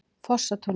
Fossatúni